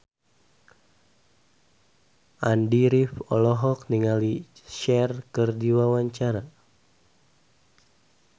Andy rif olohok ningali Cher keur diwawancara